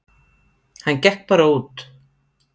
Hann gekk bara út.